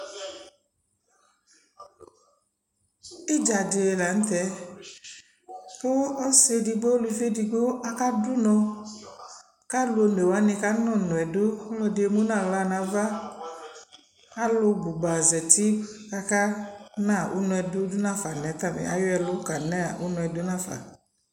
idza di lantɛ kʋ asii ɛdigbɔ ʋlʋvi ɛdigbɔ aka dʋ ʋnɔ kʋ alʋ ɔnɛ wani akana ʋnɔɛ dʋ, ɔlɔdi ɛmʋ nʋ ala nʋ aɣa, alʋ bʋba zati kʋ aka na ʋnɔɛ dʋnʋ aƒa ayɔ ɛlʋ kana ʋnɔɛ dʋnʋ aƒa